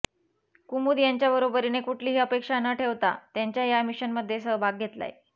कुमुद यांच्याबरोबरीने कुठलीही अपेक्षा न ठेवता त्यांच्या या मिशनमध्ये सहभाग घेतलाय